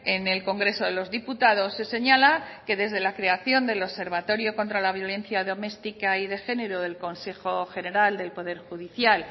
en el congreso de los diputados se señala que desde la creación del observatorio contra la violencia domestica y de género del consejo general del poder judicial